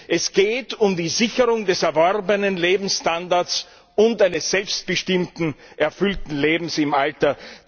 Es geht um die Sicherung des erworbenen Lebensstandards und eines selbstbestimmten, erfüllten Lebens im Alter.